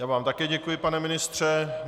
Já vám také děkuji, pane ministře.